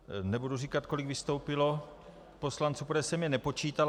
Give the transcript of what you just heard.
Nebudu říkat, kolik vystoupilo poslanců, protože jsem je nepočítal.